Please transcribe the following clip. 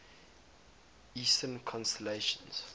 eastern constellations